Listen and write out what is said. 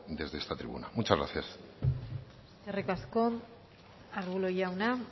desde esta tribuna muchas gracias eskerrik asko arbulo jauna